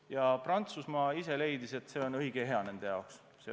Ja Prantsusmaa ise leidis, et see on õige ja hea nende jaoks.